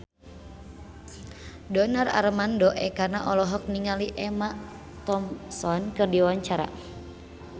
Donar Armando Ekana olohok ningali Emma Thompson keur diwawancara